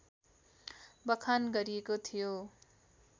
बखान गरिएको थियो